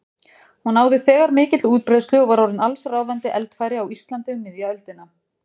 Hún náði þegar mikilli útbreiðslu og var orðin allsráðandi eldfæri á Íslandi um miðja öldina.